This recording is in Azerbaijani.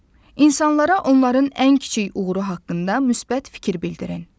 İnsanlara onların ən kiçik uğuru haqqında müsbət fikir bildirin.